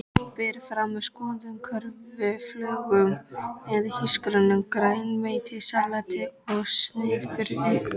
Berið fram með soðnum kartöflum eða hrísgrjónum, grænmetissalati og snittubrauði.